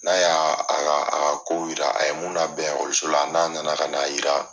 N'a y'a a ka a ka kow yira a ye mun labɛn ɔkɔliso la n'a na na ka n'a jira.